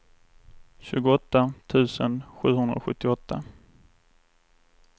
tjugoåtta tusen sjuhundrasjuttioåtta